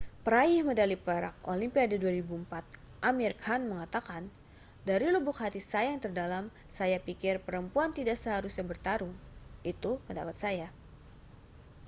peraih medali perak olimpiade 2004 amir khan mengatakan dari lubuk hati saya yang terdalam saya pikir perempuan tidak seharusnya bertarung itu pendapat saya